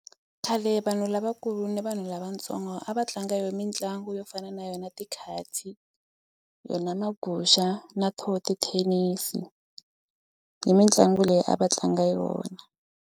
Khale vanhu lavakulu ni vanhu lavatsongo a va tlanga yona mitlangu yo fana na yona tikatsi yona maguxa na to tithenisi i mitlangu leyi a va tlanga yona.